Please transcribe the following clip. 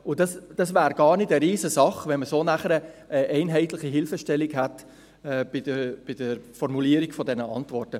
Das wäre gar nicht eine riesige Sache, wenn man so nachher eine einheitliche Hilfestellung hätte bei der Formulierung von diesen Antworten.